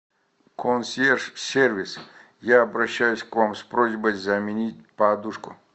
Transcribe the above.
консьерж сервис я обращаюсь к вам с просьбой заменить подушку